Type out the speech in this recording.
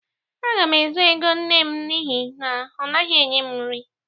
Aga m ezu ego nne m n'ihi na ọ naghị enye m nri.